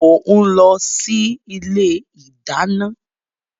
Mo ń lọ sí ilé ìdáná.